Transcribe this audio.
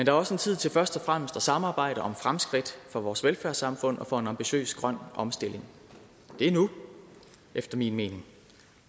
er også en tid til først og fremmest at samarbejde om fremskridt for vores velfærdssamfund og for en ambitiøs grøn omstilling det er nu efter min mening